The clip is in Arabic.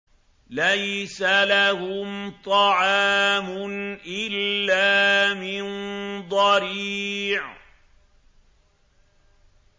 لَّيْسَ لَهُمْ طَعَامٌ إِلَّا مِن ضَرِيعٍ